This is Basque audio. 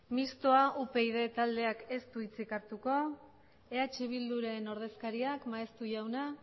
mistoa upyd taldeak ez du hitzik hartuko eh bilduren ordezkariak maeztu jauna